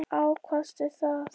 Hvenær ákvaðstu það?